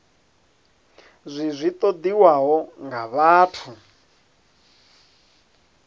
zwi zwi ṱoḓiwaho nga vhathu